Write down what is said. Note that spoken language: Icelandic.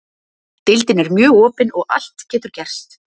Deildin er mjög opin og allt getur gerst.